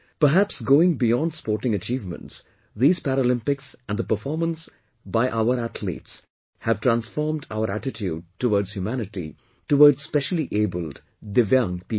Perhaps going beyond sporting achievements, these Paralympics and the performance by our athletes have transformed our attitude towards humanity, towards speciallyabled, DIVYANG people